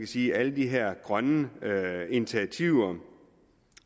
sige alle de her grønne initiativer